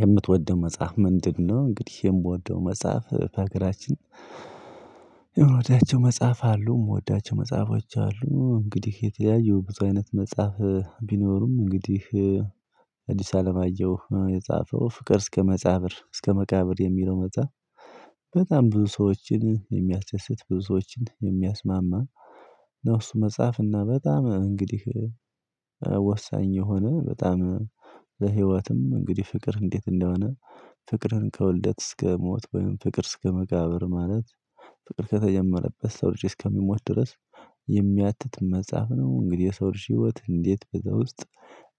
የምትወደው መጽሐፍ ምንድነው? እንግዲህ የምወደው መጽሐፍ ከአገራችን የሆነችው መጽሐፍ አሉ የምወዳቸው መጽሐፎች አሉ እንግዲህ የተለያዪ ብዙ አይነት መጽሐፍ ቢኖሩም እንግዲህ አዲስ አለማየሁ የጻፈው ፍቅር እስከ መጻብር እስከ መቃብር የሚለው መጻኀፍ። ብዙ ሰዎችን የሚያስደስት ብዙ ሰዎችን የሚያስማማ ነፍሱ መጽሐፍ እና በጣም እንግዲህ ወሳኝ የሆነ በጣም በህይወትም እንግዲህ ፍቅር እንዴት እንደሆነ ፍቅርን ከውልደት እስከ ሞት ወይም ፍቅር እስከ መቃብር ማለት ፍቅር ከተጀመረበት የሰው ልጅ እስከሚሞት ድረስ የሚያትት መጽሐፍ ነው። እንግዲህ የሰው ልጅ ህይወት እንዴት በዛ ውስጥ